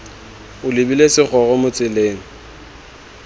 o lebile segoro mo tseleng